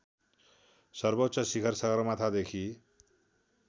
सर्वोच्च शिखर सगरमाथादेखि